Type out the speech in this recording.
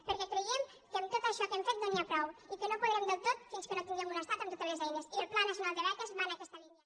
perquè creiem que amb tot això que hem fet no n’hi ha prou i que no podrem del tot fins que no tinguem un estat amb totes les eines i el pla nacional de beques va en aquesta línia